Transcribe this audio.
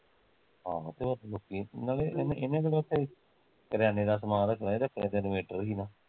ਆਹੋ ਤੇ ਹੋਰ ਲੋਕੀਂ ਨਾਲੇ ਇਹਣੇ ਇਹਨੇ ਕਿਹਦਾ ਉੱਥੇ ਕਰਿਆਨੇ ਦਾ ਸਮਾਨ ਰੱਖਣਾ, ਇਹਦਾ ਕੰਮ ਤੇ inventor ਸੀ ਨਾ